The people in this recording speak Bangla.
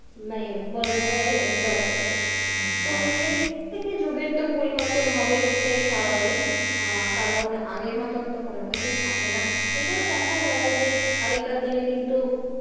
মানে বলা যেতে পারে যে enjoy করত তো সেই থেকে যুগের তো পরিবর্তন হবে সেটাই স্বাভাবিক আহ কারণ আগের মতোন তো কোন কিছুই থাকে না এটাই দেখা যায় যে আগেকার দিনে কিন্তু,